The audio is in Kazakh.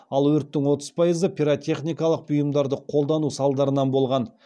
ал өрттің отыз пайызы пиротехникалық бұйымдарды қолдану салдарынан болған